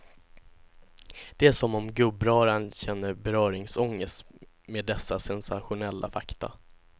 Det är som om gubbröran känner beröringsångest med dessa sensationella fakta.